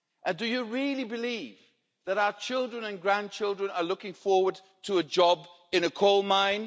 Do you really believe that our children and grandchildren are looking forward to a job in a coal mine?